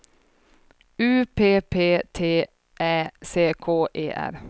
U P P T Ä C K E R